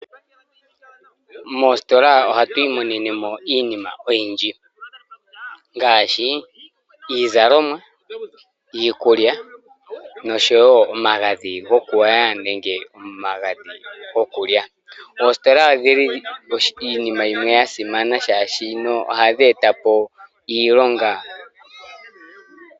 Moositolaa ohatwiimonenemo iinima oyindji, ngaashi: iizalomwa, iikulya noshowoo omagadhi gokugwaya nenge omagadhi gokulya. Oositola odhili iinima yimwe yasimana shaashino ohadheetapo iilonga.